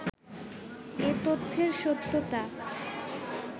এ তথ্যের সত্যতা